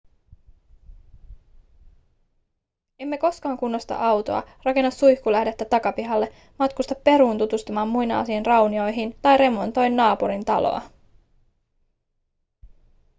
emme koskaan kunnosta autoa rakenna suihkulähdettä takapihalle matkusta peruun tutustumaan muinaisiin raunioihin tai remontoi naapurin taloa